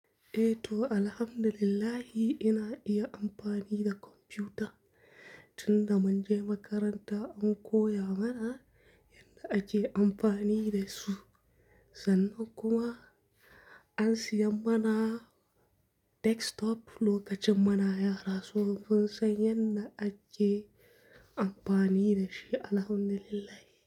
Eh to, alhamdulillah ina iya amfani da kwamfuta. Tunda mun je makaranta an koya mana yadda ake amfani da su, sannan kuma an siya mana desktop lokacin muna yara. So mun san yadda ake amfani da shi, alhamdulillah.